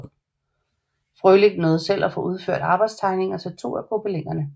Frølich nåede selv at få udført arbejdstegninger til to af gobelinerne